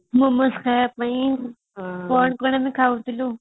momos ଖାଇବା ପାଇଁ କଣ କଣ ଆମେ ଖାଉଥିଲୁ